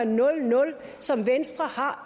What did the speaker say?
nul nul som venstre har